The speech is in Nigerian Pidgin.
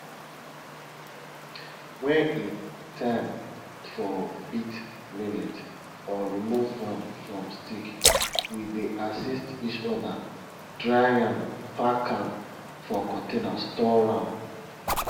when e time for beat millet or remove am from stick we dey assist each other dry am pack am for container store am